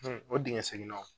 o dingɛ segennaw.